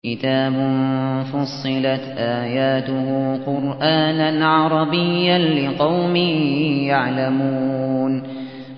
كِتَابٌ فُصِّلَتْ آيَاتُهُ قُرْآنًا عَرَبِيًّا لِّقَوْمٍ يَعْلَمُونَ